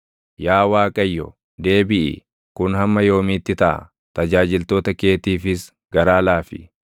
Yaa Waaqayyo, deebiʼi! Kun hamma yoomiitti taʼa? Tajaajiltoota keetiifis garaa laafi.